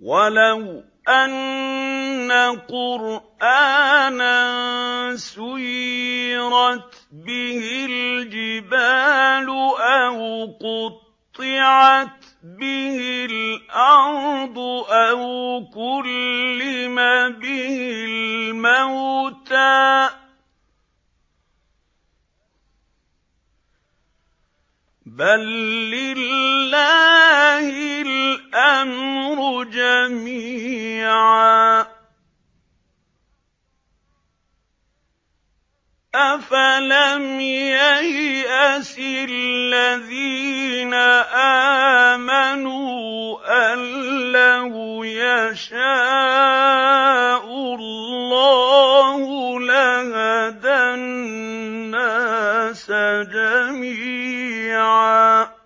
وَلَوْ أَنَّ قُرْآنًا سُيِّرَتْ بِهِ الْجِبَالُ أَوْ قُطِّعَتْ بِهِ الْأَرْضُ أَوْ كُلِّمَ بِهِ الْمَوْتَىٰ ۗ بَل لِّلَّهِ الْأَمْرُ جَمِيعًا ۗ أَفَلَمْ يَيْأَسِ الَّذِينَ آمَنُوا أَن لَّوْ يَشَاءُ اللَّهُ لَهَدَى النَّاسَ جَمِيعًا ۗ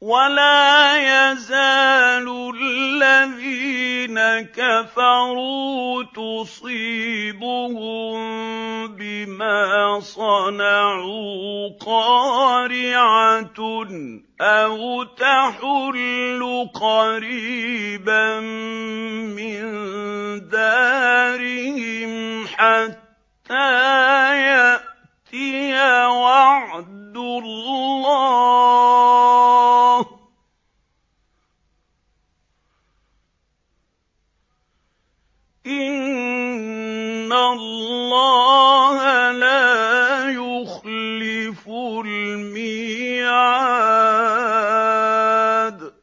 وَلَا يَزَالُ الَّذِينَ كَفَرُوا تُصِيبُهُم بِمَا صَنَعُوا قَارِعَةٌ أَوْ تَحُلُّ قَرِيبًا مِّن دَارِهِمْ حَتَّىٰ يَأْتِيَ وَعْدُ اللَّهِ ۚ إِنَّ اللَّهَ لَا يُخْلِفُ الْمِيعَادَ